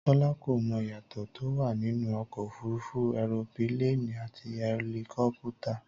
Tọ́lá kò mọ ìyàtọ̀ tó wà nínú ọkọ̀ òfúrufú ẹropíléènì àti ẹlikọ́pútà